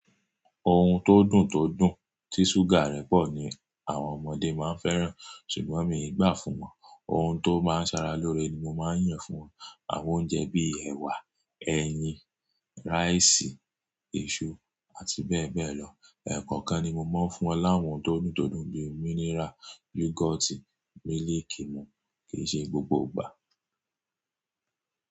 Ohun tó dùn tó dùn tí ṣúgà rẹ̀ pọ̀ ni àwọn ọmọdé máa ń fẹ́ràn, ṣùgbọ́n mi ò gbà fún wọn. Ohun tó máa ń sara lóore ni mo máa ń yàn fún wọn. Àwọn oúnjẹ bí i ẹ̀wà, ẹyin, ráìsì, èso àti bẹ́ẹ̀ bẹ́ẹ̀ lọ. Ẹ̀ẹ̀kọ̀kan ni mo máa ń fún wọn láwọn tó dùn tó dùn bí i mínírà, yúgọ́ọ̀tì, mílìkì mu kì í ṣe gbogbo ìgbà.